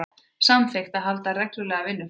Samþykkt að halda reglulega vinnufundi